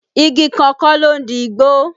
Igi kan kọ́ ló ń di igbó